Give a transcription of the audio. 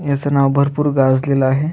याच नाव भरपुर गाजलेल आहे.